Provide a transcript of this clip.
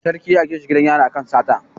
Sarki ya aika shi gidan yari akan sata